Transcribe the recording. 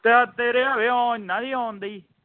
ਸ਼ਾਇਦ ਤੇਰੇ ਹਾਵੇ ਉਹ ਇਹਨਾਂ ਦੀ ਆਉਂਣ ਦੀ